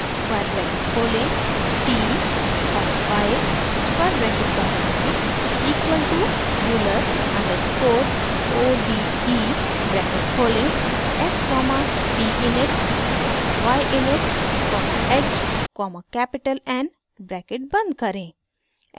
square bracket खोलें t comma y square bracket बंद करें equal to euler underscore o d e bracket खोलें f comma t init comma y init comma h comma capital n bracket बंद करें